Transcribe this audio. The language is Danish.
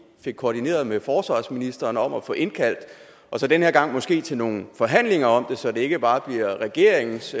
fik koordineret med forsvarsministeren om at få indkaldt og så den her gang måske til nogle forhandlinger om det så det ikke bare bliver regeringens